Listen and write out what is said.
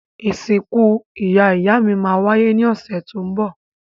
Ìsìkú ìyá-ìyámí má wáyé ni ọ̀sẹ̀ to n bọ̀